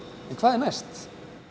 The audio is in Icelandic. en hvað er næst